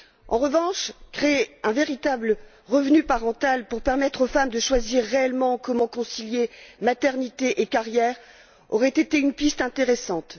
En revanche, créer un véritable revenu parental pour permettre aux femmes de choisir réellement comment concilier maternité et carrière aurait été une piste intéressante.